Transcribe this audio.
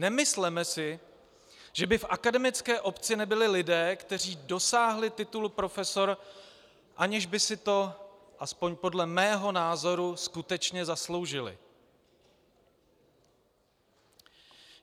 Nemysleme si, že by v akademické obci nebyli lidé, kteří dosáhli titul profesor, aniž by si to aspoň podle mého názoru skutečně zasloužili.